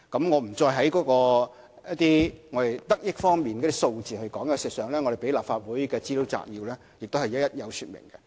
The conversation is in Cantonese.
我不再說得益方面的數字，事實上，提交予立法會的資料摘要已一一說明。